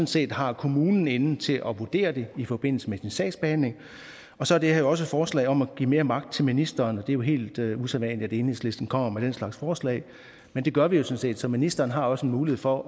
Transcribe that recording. set har kommunen inde til at vurdere det i forbindelse med sin sagsbehandling og så er det her jo også et forslag om at give mere magt til ministeren det er jo helt usædvanligt at enhedslisten kommer med den slags forslag men det gør vi sådan set så ministeren har også en mulighed for